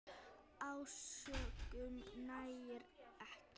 Ásökun nægir ekki.